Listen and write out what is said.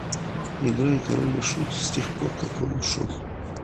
играй король и шут с тех пор как он ушел